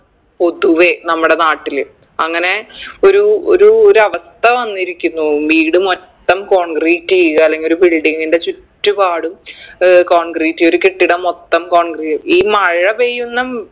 പൊതുവെ നമ്മടെ നാട്ടില് അങ്ങനെ ഒരു ഒരു ഒരവസ്ഥ വന്നിരിക്കുന്നു വീട് മൊത്തം concrete ചെയ്യുക അല്ലെങ്കി ഒരു building ൻറെ ചുറ്റുപാടും ഏർ concrete ഒരു കെട്ടിടം മൊത്തം concrete ഈ മഴ പെയ്യുന്ന